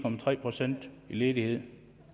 procent i ledighed